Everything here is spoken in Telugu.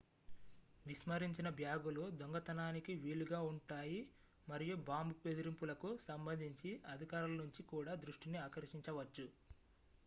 విస్మరించిన బ్యాగులు దొంగతనానికి వీలుగా ఉంటాయి మరియు బాంబు బెదిరింపులకు సంబంధించి అధికారుల నుంచి కూడా దృష్టిని ఆకర్షించవచ్చు